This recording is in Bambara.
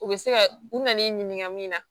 U bɛ se ka u nan'i ɲininka min na